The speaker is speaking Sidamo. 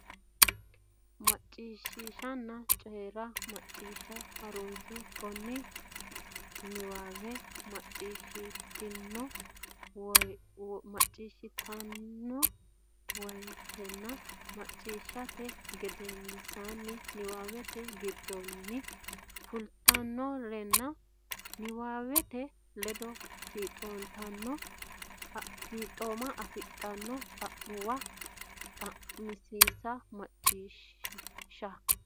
Macciishshanna Coyi ra Macciishsha Ha runsi keeno niwaawe macciishshitanno woytenna macciishshite gedensaanni niwaawete giddonni filtinorenna niwaawete ledo fiixooma afidhino xa muwa xa minsa Macciishshanna.